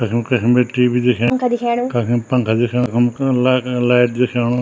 कखिम कखिम बटि टी.वी. दिखें पंखा दिखेणु कखिम पंखा दिखेणु कखम कन लेट लैट दिख्येणु।